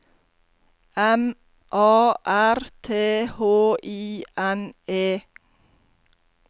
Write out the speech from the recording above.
M A R T H I N E